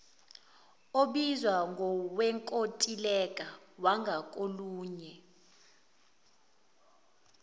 obizwa ngowenkontileka wangakolunye